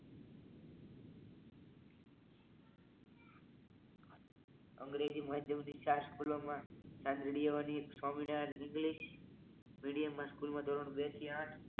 અંગ્રેજી માધ્યમથી ચાર સ્કૂલોમાં કેન સ્વામિનારાયણ ઇંગલિશ મીડીયમ સ્કૂલમાં ધોરણ બે થી આથ